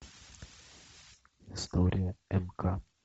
история мк